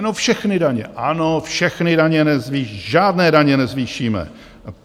No, všechny daně, ano, všechny daně nezvýšíme, žádné daně nezvýšíme!